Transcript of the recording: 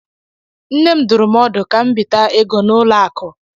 Nne m dụrụ m ọdụ ka m bita ego n'ụlọ akụ.